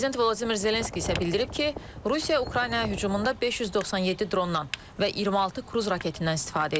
Prezident Vladimir Zelenski isə bildirib ki, Rusiya Ukraynaya hücumunda 597 drondan və 26 kruz raketindən istifadə edib.